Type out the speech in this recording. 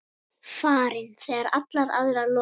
Farin þegar allar aðrar lokast.